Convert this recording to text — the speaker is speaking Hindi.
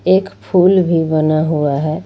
एक फूल भी बना हुआ है।